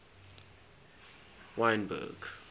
wynberg